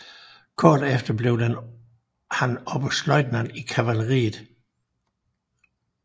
Kort efter blev han oberstløjtnant i kavaleriet